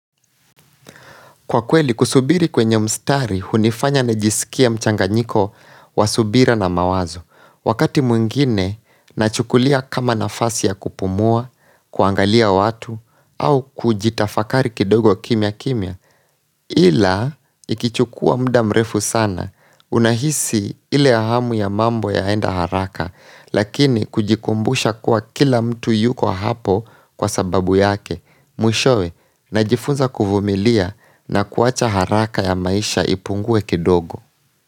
Kwa kweli, kusubiri kwenye mstari, hunifanya na jisikia mchanga nyiko wa subira na mawazo. Wakati mwingine, nachukulia kama nafasi ya kupumua, kuangalia watu, au kujitafakari kidogo kimya kimya. Ila, ikichukua muda mrefu sana, unahisi ile ahamu ya mambo ya enda haraka, lakini kujikumbusha kuwa kila mtu yuko hapo kwa sababu yake. Mwishowe na jifunza kuvumilia na kuwacha haraka ya maisha ipungue kidogo.